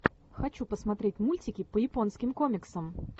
хочу посмотреть мультики по японским комиксам